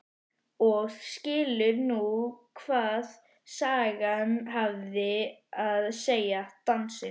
Og skilur nú hvað sagan hafði að segja, dansinn.